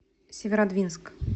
северодвинск